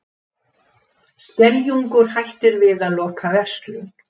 Skeljungur hættir við að loka verslun